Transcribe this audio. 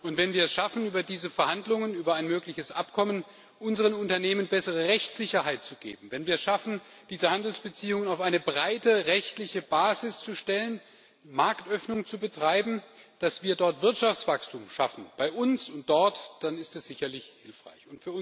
Und wenn wir es schaffen, über diese Verhandlungen über ein mögliches Abkommen unseren Unternehmen bessere Rechtssicherheit zu geben, wenn wir es schaffen, diese Handelsbeziehungen auf eine breite, rechtliche Basis zu stellen, Marktöffnung zu betreiben, dass wir dort Wirtschaftswachstum schaffen bei uns und dort dann ist das sicherlich hilfreich.